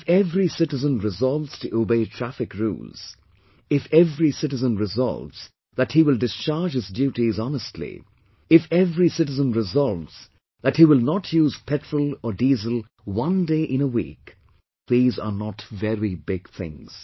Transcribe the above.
If every citizen resolves to obey traffic rules, if every citizen resolves that he will discharge his duties honestly, if every citizen resolves that he will not use petrol or diesel one day in a week these are not very big things